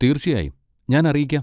തീർച്ചയായും, ഞാൻ അറിയിക്കാം.